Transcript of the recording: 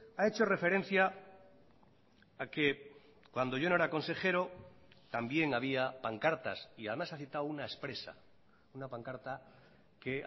ha hecho referencia a que cuando yo no era consejero también había pancartas y además ha citado una expresa una pancarta que